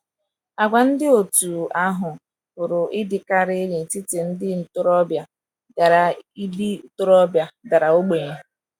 Àgwà ndị dị otú ahụ pụrụ ịdịkarị n’etiti ndị ntorobịa dara ndị ntorobịa dara ogbenye